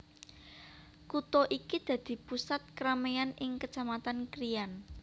Kutha iki dadi pusat kerameyan ing Kecamatan Krian